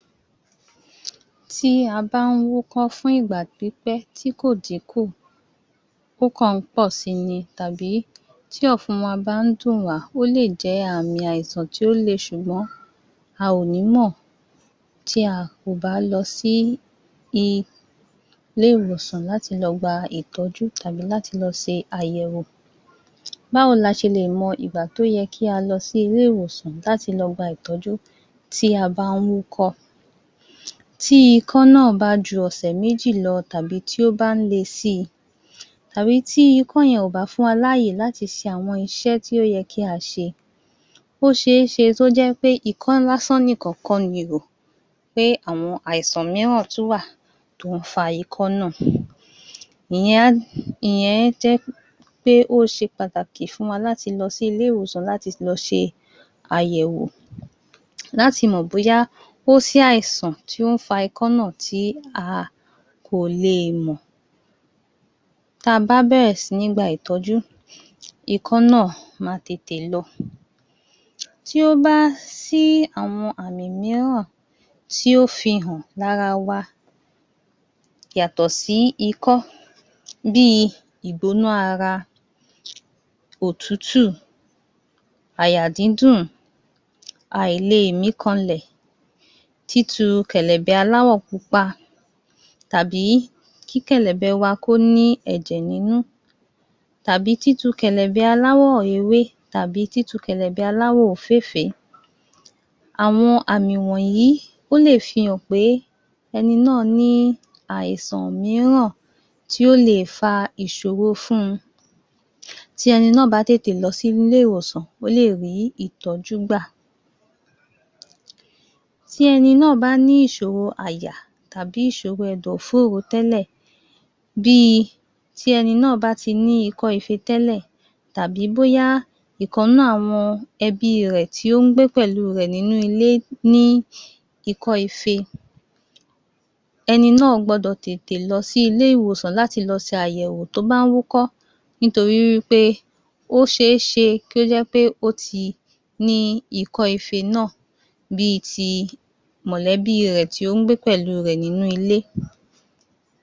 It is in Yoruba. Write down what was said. Tí a bá wúkọ́ fún ìgbà pípẹ́ tí kò dín kù ó kọ̀ọ́ pọ̀ si ni tàbí tí ọ̀fun wa bá ń dùn wá, ó lè jẹ́ àmì àìsàn tí ó le ṣùgbọ́n a ò ní mọ̀ ti a kò bá lọ sí i ilé-ìwòsàn láti lọ gba ìtọ́jú tàbí láti lọ ṣe àyẹ̀wò. Báwo ni a ṣe lè mọ ìgbà tó yẹ́ kí a lọ sí ilé-ìwòsàn láti lọ gba ìtọ́jú ti a bá wúkọ́? Tí ikọ́ náà bá ju ọ̀sè méjì lọ tàbí tí ó bá ń le si tàbí tí ikọ̀ yẹn o bá fún wa ní àyè láti ṣe àwọn iṣẹ́ tó yẹ kí a ṣe o ṣe é ṣe kí o jẹ́ pé ikọ́ lásán nìkan kọ́ ni pé àwọn àìsàn mìíràn tún wà tó fa ikọ́ náà Ìyẹn a ìyẹn jẹ́ pé ó ṣe pàtàkì fún wa láti lọ sí ilé-ìwòsàn láti lọ ṣe àyẹ̀wò, láti mọ̀ bóyá kò sí àìsàn tí ó ń fa ikọ́ náà tí a kò lè mọ̀ tí a bá bẹ̀rẹ̀ síní gba ìtọ́jú ikọ́ náà má tètè lọ. Tí o bá sí àwọn àmì mìíràn tí ó fihàn pé ara wa yàtọ̀ sí ikọ́ bí igbóná ara, òtútù, àyà dídùn àìlè mí kanlẹ̀ títu kẹ̀lẹ̀bẹ̀ aláwọ̀ pupa tàbí kí kẹ̀lẹ̀bẹ̀ wa kó ní ẹ̀jẹ̀ nínú tàbí títu kẹ̀lẹ̀bẹ̀ àláwọ̀ rere tàbí títu kẹ̀lẹ̀bẹ̀ àláwọ̀ òféèfé. Àwọn àmì wọ̀nyí ó lè fihàn pé ẹni náà ní àìsàn mìiràn tí o lè fa ìṣòro fún un. Tí ẹni náà bá tètè lọ sí ilé-ìwòsàn, ó lè rí ìtọ́jú gbà. Tí ẹni náà bá ní ìṣòro àyà tẹ́lẹ̀ tàbi ìṣòro ẹ̀dọ̀ fóró tẹ́lẹ̀ bí tí ẹni náà bá ti ní ikọ́ ifé tẹ́lẹ̀ tàbi bóyá ìkan nínú àwọn ẹbí rẹ̀ tí ó ń gbé pẹ̀lú rẹ̀ nínú ilé ní ikọ́ ifé. Ẹni náà gbọ́dọ̀ tètè lọ sí ilé-ìwòsàn láti lọ ṣe àyẹ̀wò tí ó bá ń wú kọ́ nítorí wí pé o ṣe é ṣe kí ó jẹ́ pé ó ti ní ikọ́ ifé náà bí ti mọ̀lẹ́bí rẹ̀ ti ó ń gbé pẹ̀lú rẹ̀ nínú ilé.